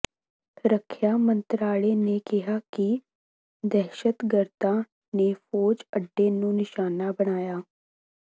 ਰੱਖਿਆ ਮੰਤਰਾਲੇ ਨੇ ਕਿਹਾ ਕਿ ਦਹਿਸ਼ਤਗਰਦਾਂ ਨੇ ਫ਼ੌਜੀ ਅੱਡੇ ਨੂੰ ਨਿਸ਼ਾਨਾ ਬਣਾਇਆ